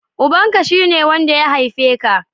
Ubanka, shi ne wanda ya haife ka